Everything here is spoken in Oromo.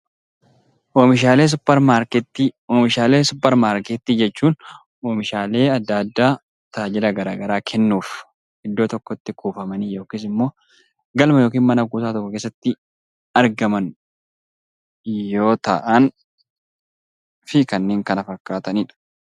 Oomishaalee suupermaarkeetii Oomishaalee suupermaarkeetii jechuun oomishaalee addaa addaa tajaajila garaagaraa kennuuf iddoo tokkotti kuufaman yookaan immoo galma yookaan mana kuusaa tokko keessatti argaman yoo ta'an fi kanneen kana fakkaatan kennaan.